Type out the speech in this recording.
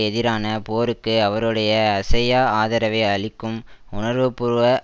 எதிரான போருக்கு அவருடைய அசையா ஆதரவை அளிக்கும் உணர்வுபூர்வ